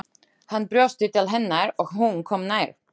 Hann brosti til hennar og hún kom nær.